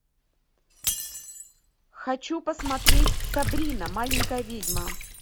хочу посмотреть сабрина маленькая ведьма